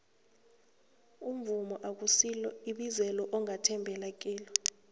umvumo akusilo ibizelo ongathembela kilo